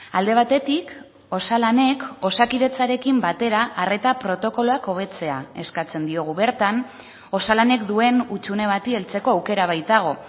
alde batetik osalanek osakidetzarekin batera arreta protokoloak hobetzea eskatzen diogu bertan osalanek duen hutsune bati heltzeko aukera baitago